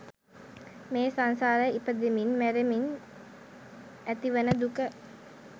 මේ සංසාරේ ඉපදෙමින් මැරෙමින් ඇතිවන දුක